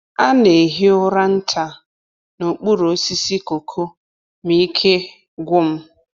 A na-ehi ụra nta n’okpuru osisi cocoa ma ike gwụ m.